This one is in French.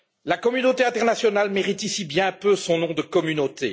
La communauté internationale mérite ici bien peu son nom de communauté.